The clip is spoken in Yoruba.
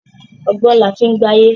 Ọgbọ́n laa fi ń gbáyé